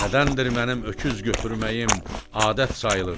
Nədəndir mənim öküz götürməyim adət sayılır?